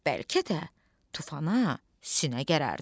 Bəlkə də tufana sinə gərərdin.